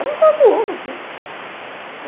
Era uma coisa de louco aquilo.